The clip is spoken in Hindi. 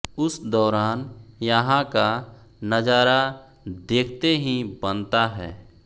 उस दौरान यहां का नजारा देखते ही बनता है